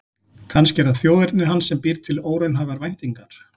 Kannski er það þjóðerni hans sem býr til óraunhæfar væntingar.